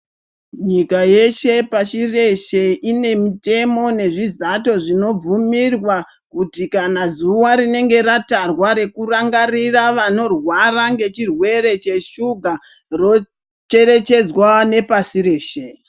Nyika yeshe pashi reshe, ine mitemo nezvizato zvinobvumirwa, kuti kana zuwa tinenge ratarwa rekurangarira vanorwara nechirwere cheshuga, rocherechedzwa nepasi reshe.